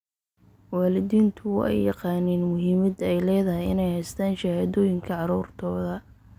Waalidiintu waa ay yaqaaniin muhiimadda ay leedahay in ay haystaan ??shahaadooyinka carruurtooda.